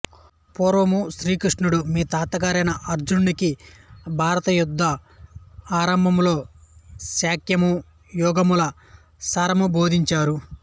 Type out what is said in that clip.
పూర్వము శ్రీకృష్ణుడు మీ తాతగారైన అర్జునుడికి భారతయుద్ధ ఆరంభంలో సాంఖ్యము యోగముల సారము బోధించారు